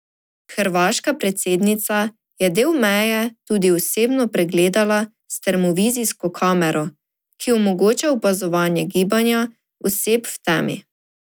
Hrvaška predsednica je del meje tudi osebno pregledala s termovizijsko kamero, ki omogoča opazovanje gibanja oseb v temi.